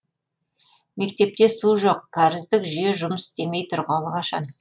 мектепте су жоқ кәріздік жүйе жұмыс істемей тұрғалы қашан